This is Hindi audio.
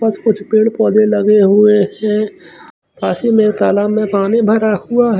बस कुछ पेड़ पौधे लगे हुए है ऐसे में तालाब में पानी भरा हुआ है--